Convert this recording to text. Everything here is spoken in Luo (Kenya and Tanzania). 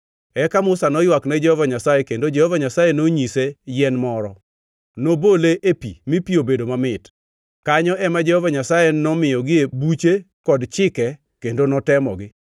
Eka Musa noywak ne Jehova Nyasaye kendo Jehova Nyasaye nonyise yien moro. Nobole ei pi mi pi obedo mamit. Kanyo ema Jehova Nyasaye nomiyogie buche kod chike kendo notemogi.